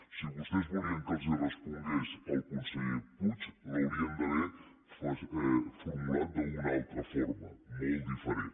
si vostès volien que els respongués el conseller puig l’haurien d’haver formulat d’una altra forma molt diferent